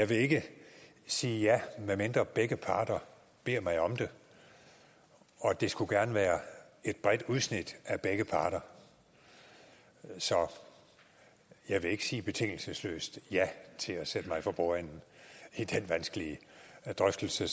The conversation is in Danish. vil ikke sige ja medmindre begge parter beder mig om det og det skulle gerne være et bredt udsnit af begge parter så jeg vil ikke sige betingelsesløst ja til at sætte mig for bordenden i den vanskelige drøftelse